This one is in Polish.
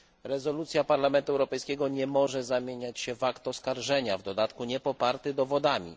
Rezolucja Parlamentu Europejskiego nie może zamieniać się w akt oskarżenia, w dodatku niepoparty dowodami.